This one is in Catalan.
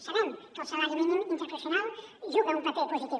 sabem que el salari mínim interprofessional juga un paper positiu